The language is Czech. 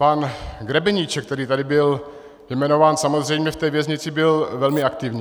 Pan Grebeníček, který tady byl jmenován, samozřejmě v té věznici byl velmi aktivní.